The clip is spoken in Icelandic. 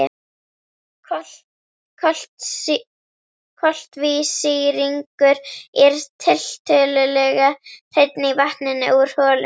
Koltvísýringur er tiltölulega hreinn í vatninu úr holunni.